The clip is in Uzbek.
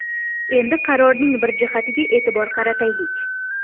Endi qarorning bir jihatiga e’tibor qarataylik.